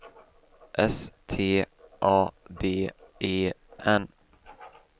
S T A D E N